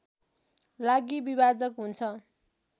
लागि विभाजक हुन्छ